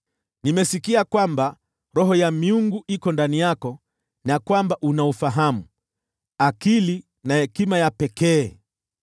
Nimesikia kwamba roho ya miungu iko ndani yako, na kwamba una ufahamu, akili na hekima ya pekee.